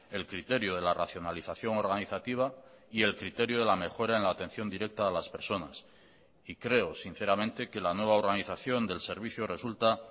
el criterio de la racionalización organizativa y el criterio de la mejora en la atención directa a las personas y creo sinceramente que la nueva organización del servicio resulta